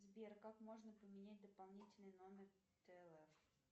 сбер как можно поменять допонительный номер тлф